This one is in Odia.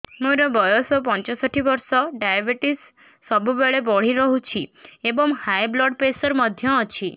ମୋର ବୟସ ପଞ୍ଚଷଠି ବର୍ଷ ଡାଏବେଟିସ ସବୁବେଳେ ବଢି ରହୁଛି ଏବଂ ହାଇ ବ୍ଲଡ଼ ପ୍ରେସର ମଧ୍ୟ ଅଛି